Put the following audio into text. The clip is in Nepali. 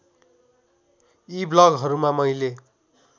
यी ब्लगहरूमा मैले